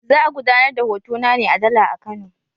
Za a gudanar da hotona ne a Dala a Kano.